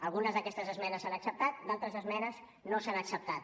algunes d’aquestes esmenes s’han acceptat d’altres esmenes no s’han acceptat